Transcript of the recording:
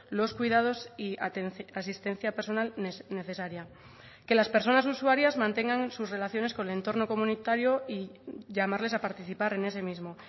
los cuidados y asistencia personal necesaria que las personas usuarias mantengan sus relaciones con el entorno comunitario y llamarles a participar en ese mismo